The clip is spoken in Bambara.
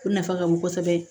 O nafa ka bon kosɛbɛ